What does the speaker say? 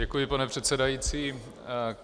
Děkuji, pane předsedající.